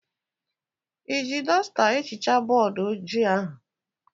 Iji dọsta ehichaa bọọdụ ojii ahụ?